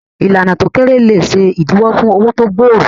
Ìlànà tí ó kéré lè ṣe ìdíwọ́ fún òwò tó gbòòrò.